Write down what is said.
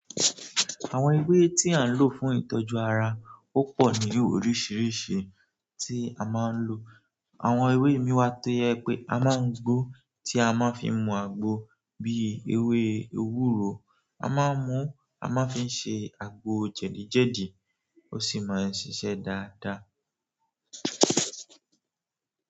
Àwọn ewé tí à ń lò fún ìtọ́jú ara, ó pọ̀ ní oríṣiríṣi tí a ma ń lò. Àwọn ewé ìmí ì wà tó jẹ́ pé a máa ń gbo ó tí a má fi mu àgbo bí ewé ewúro, a má ń mu ú a má ń fi ṣe àgbo jẹ̀díjẹ̀dí ó sì ma ń ṣiṣẹ́ dáadáa.